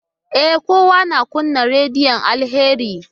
E, kawai na kunna rediyon Alheri.